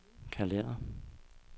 kalender